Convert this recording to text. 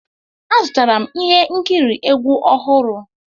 Azụtara m ihe nkiri egwu ọhụrụ.